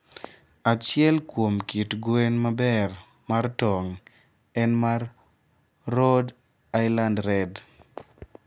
Achiel kuom kit gwen maber mar tong' en mar Rhode Island Red.